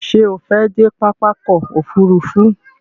Ṣé o fẹ́ dé pápá ọkò òfurufú?